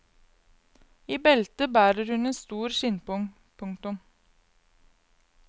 I beltet bærer hun en stor skinnpung. punktum